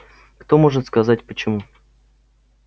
кто может сказать почему